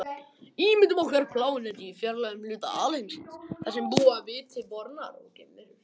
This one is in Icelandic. Ímyndum okkur plánetu í fjarlægum hluta alheimsins þar sem búa viti bornar geimverur.